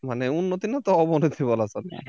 মানে উন্নতি না তো অবনতি বলা চলে